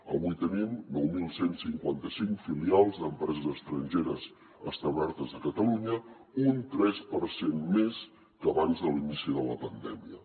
avui tenim nou mil cent i cinquanta cinc filials d’empreses estrangeres establertes a catalunya un tres per cent més que abans de l’inici de la pandèmia